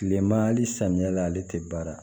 Kilema hali samiyɛ la ale tɛ baara